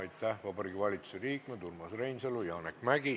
Aitäh, Vabariigi Valitsuse liikmed Urmas Reinsalu ja Janek Mäggi!